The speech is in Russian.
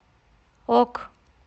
ок